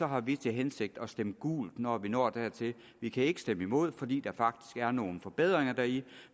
har vi til hensigt at stemme gult når vi når dertil vi kan ikke stemme imod fordi der faktisk er nogle forbedringer deri